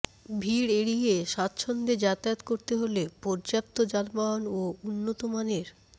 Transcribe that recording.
ভিড় এড়িয়ে স্বাচ্ছন্দ্যে যাতায়াত করতে হলে পর্যাপ্ত যানবাহন ও উন্নত মানের